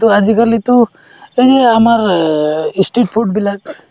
আজিকালিতো এই যে আমাৰ ই street food বিলাক